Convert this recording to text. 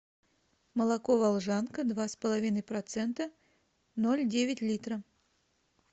молоко волжанка два с половиной процента ноль девять литра